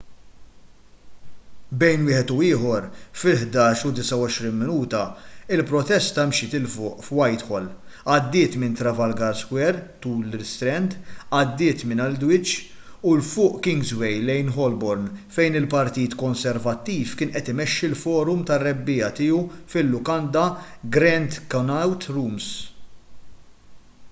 bejn wieħed u ieħor fil-11:29 il-protesta mxiet ’il fuq f’whitehall għaddiet minn trafalgar square tul l-istrand għaddiet minn aldwych u ’l fuq f’kingsway lejn holborn fejn il-partit konservattiv kien qed imexxi l-forum tar-rebbiegħa tiegħu fil-lukanda grand connaught rooms